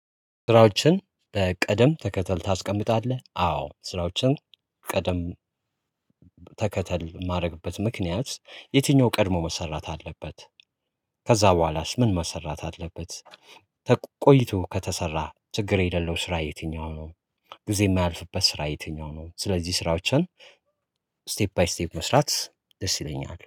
ስራዎችን በቀደም ተከተል ታስቀምጣለህ? አዎ ስራዎችን ቀደም ተከተል የማደርግበት ምክንያት የትኛው ቀድሞ መሰራት አለበት ከዛ በኋላስ ምን መሰራት አለበት? ቆይቶ ከተሰራ ችግር የሌለው ስራ የትኛው ነው? ጊዜ የማያልፍበት ስራ የትኛው ነው? ስለዚህ ስራዎችን ስቴፕ ባይ ስቴፕ መስራት ደስ ይለኛል